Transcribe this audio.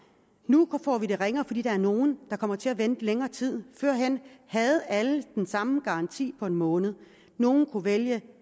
nu får vi det ringere fordi der er nogle der kommer til at vente længere tid førhen havde alle den samme garanti på en måned nogle kunne vælge